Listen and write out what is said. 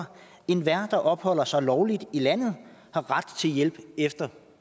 enhver der opholder sig lovligt i landet har ret til hjælp efter